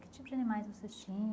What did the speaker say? Que tipo de animais vocês